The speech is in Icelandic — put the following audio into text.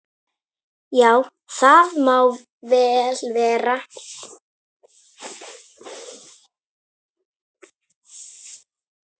Já, það má vel vera.